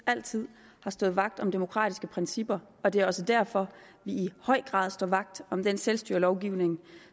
altid har stået vagt om demokratiske principper og det er også derfor vi i høj grad står vagt om den selvstyrelovgivning